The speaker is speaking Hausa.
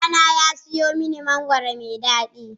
Ɗana ya sayo mani mangwaro mai daɗi.